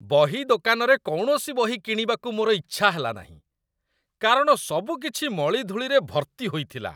ବହି ଦୋକାନରେ କୌଣସି ବହି କିଣିବାକୁ ମୋର ଇଚ୍ଛା ହେଲାନାହିଁ, କାରଣ ସବୁକିଛି ମଳିଧୂଳିରେ ଭର୍ତ୍ତି ହୋଇଥିଲା